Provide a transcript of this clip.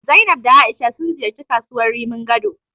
Zainab da A'isha sun ziyarci kasuwar Rimin Gado.